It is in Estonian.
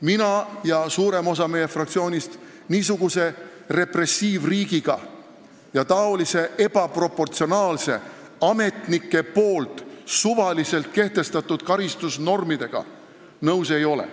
Mina ja suurem osa meie fraktsioonist niisuguse repressiivriigiga ja sääraste ebaproportsionaalsete ametnike poolt suvaliselt kehtestatud karistusnormidega nõus ei ole.